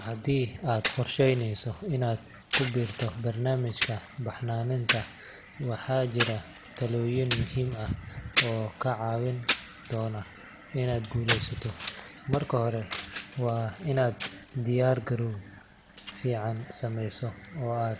Haddii aad qorsheyneyso inaad ku biirto barnaamijka baxnaaninta, waxaa jira talooyin muhiim ah oo kaa caawin doona inaad guulaysato. Marka hore, waa inaad diyaar garow fiican sameysataa, oo aad